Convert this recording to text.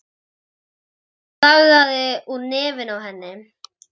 Blóðið lagaði úr nefinu á henni.